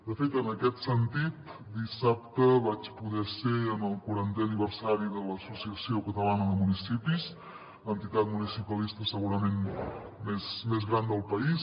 de fet en aquest sentit dissabte vaig poder ser en el quarantè aniversari de l’asso ciació catalana de municipis l’entitat municipalista segurament més gran del país